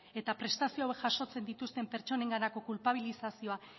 eta prestazio hauek jasotzen dituzten pertsonenganako kulpabilizazio